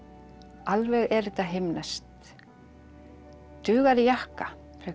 alveg er þetta himneskt dugar í jakka frekar